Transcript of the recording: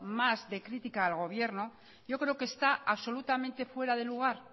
más de crítica al gobierno yo creo que está absolutamente fuera de lugar